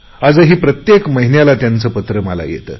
आजही प्रत्येक महिन्याला त्यांचे पत्र मला येते